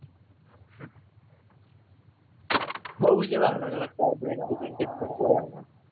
બહુ જ એવા અલગ અલગ સાહેબો